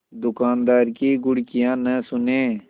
दुकानदार की घुड़कियाँ न सुने